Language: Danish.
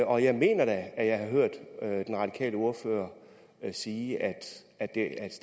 og jeg mener da at jeg har hørt den radikale ordfører sige at